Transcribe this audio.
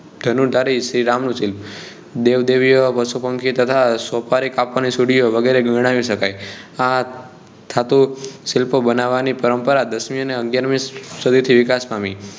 ધનુર્ધારી શ્રી રામ નું શિલ્પ દેવદેવીઓ પશુપંખી તથા સોપારી કાપવાની સુરીઓ વગેરે ગણાવી સકાય આ ધાતુ શિલ્પ બનાવવાની પરંપરા દસમી અને અગ્યારમી સદી થી વિકાસ પામી